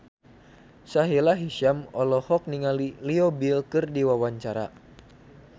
Sahila Hisyam olohok ningali Leo Bill keur diwawancara